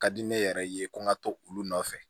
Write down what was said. Ka di ne yɛrɛ ye ko n ka to olu nɔfɛ